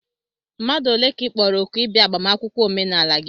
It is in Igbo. mmadụ ole ka ị kpọrọ òkù ịbịa agbamakwụkwọ omenala gị?